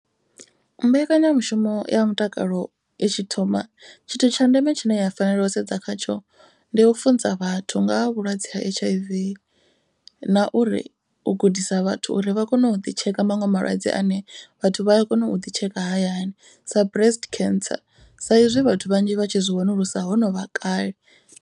Mbekanyamushumo ya mutakalo i tshi thoma tshithu tsha ndeme tshine ya fanela u sedza khatsho. Ndi u funza vhathu nga ha vhulwadze ha H_I_V. Na uri u gudisa vhathu uri vha kone u ḓi tsheka maṅwe malwadze ane vhathu vha a kona u ḓi tsheka hayani. Sa breast cancer sa izwi vhathu vhanzhi vha tshi zwi wanulusa ho novha kale.